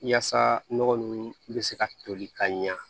Yaasa nɔgɔ ninnu bɛ se ka toli ka ɲɛ